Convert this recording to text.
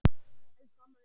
Elsku amma Unnur.